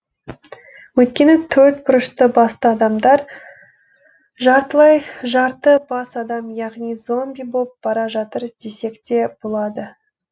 өйткені төрт бұрышты басты адамдар жартылай жарты бас адам яғни зомби боп бара жатыр десекте болады